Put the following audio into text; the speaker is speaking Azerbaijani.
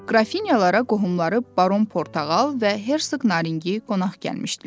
Qrafinyalara qohumları Baron Portağal və Hərsıq Narinçi qonaq gəlmişdilər.